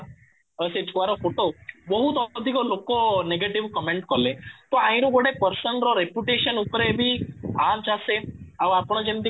ଆଉ ସେ ଛୁଆ ର ଫୋଟୋ ବହୁତ ଅଧିକ ଲୋକ negative କମେଣ୍ଟ କଲେ ତ ଗୋଟେ person ର reputation ଉପରେ ବି ଆଞ୍ଚ ଆସେ ଆଉ ଆପଣ ଯେମିତି